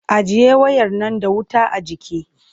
Ajiye wayar nan da wuta a jiki!